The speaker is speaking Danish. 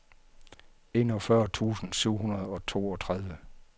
enogfyrre tusind syv hundrede og toogtredive